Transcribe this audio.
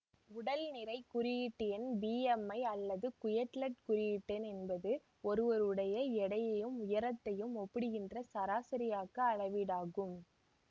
உடல் நிறை குறியீட்டெண் பிஎம்ஐ அல்லது குயட்லெட் குறியீட்டெண் என்பது ஒருவருடைய எடையையும் உயரத்தையும் ஒப்பிடுகின்ற சராசரியாக்க அளவீடாகும்